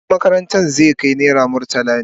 Kudin makarantan Zugwai naira murtala ne.